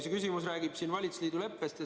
See küsimus siin räägib valitsusliidu leppest.